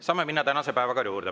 Saame minna tänase päevakorra juurde.